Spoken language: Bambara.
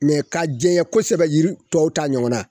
ka jɛnyɛ kosɛbɛ yiri tɔw ta ɲɔgɔnna